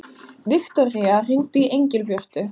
Viktoría, hringdu í Engilbjörtu.